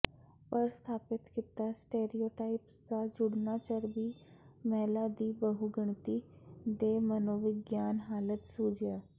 ਪਰ ਸਥਾਪਿਤ ਕੀਤਾ ਸਟੇਰੀਓਟਾਈਪਸ ਦਾ ਜੁੜਨਾ ਚਰਬੀ ਮਹਿਲਾ ਦੀ ਬਹੁਗਿਣਤੀ ਦੇ ਮਨੋਵਿਗਿਆਨਕ ਹਾਲਤ ਸੁਝਿਆ